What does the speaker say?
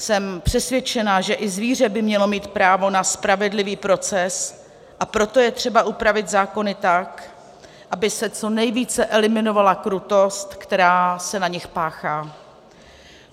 Jsem přesvědčena, že i zvíře by mělo mít právo na spravedlivý proces, a proto je třeba upravit zákony tak, aby se co nejvíce eliminovala krutost, která se na nich páchá.